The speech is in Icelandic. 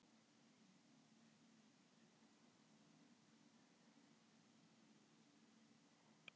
Ef illa fer.